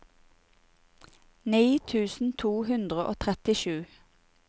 ni tusen to hundre og trettisju